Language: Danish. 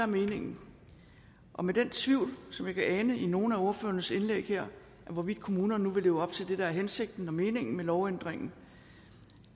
meningen og med den tvivl som jeg kan ane i nogle af ordførernes indlæg her hvorvidt kommunerne nu vil leve op til det der er hensigten og meningen med lovændringen